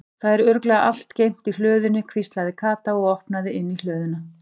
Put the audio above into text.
Það er örugglega allt geymt í hlöðunni hvíslaði Kata og opnaði inn í hlöðuna.